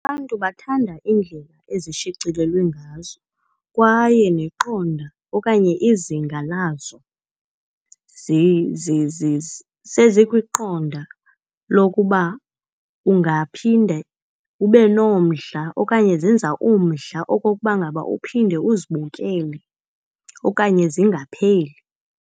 Abantu bathanda iindlela ezishicilelweyo ngazo kwaye neqonda okanye izinga lazo sezikwiqonda lokuba ungaphinde ube nomdla okanye zenza umdla okokuba ngaba uphinde uzibukele okanye zingapheli.